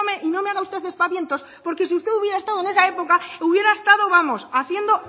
y no me haga usted aspavientos porque si usted hubiera estado en esa época hubiera estado vamos haciendo